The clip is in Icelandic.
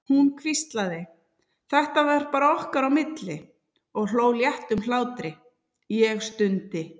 Hún hvíslaði, þetta var bara okkar á milli, og hló léttum hlátri, ég stundi.